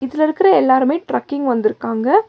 இதுல இருக்கற எல்லாருமே ட்ரக்கிங் வந்துருக்காங்க.